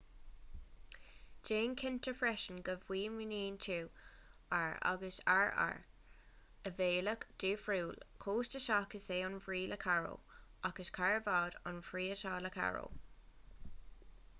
déan cinnte freisin go bhfuaimníonn tú r agus rr ar bhealach difriúil costasach is ea an bhrí le caro ach is carbad an bhrí atá le carro